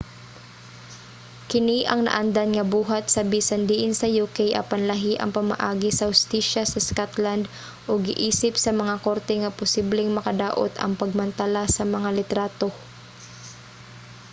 kini ang naandan nga buhat sa bisan diin sa uk apan lahi ang pamaagi sa hustisya sa scotland ug giisip sa mga korte nga posibleng makadaot ang pagmantala sa mga litrato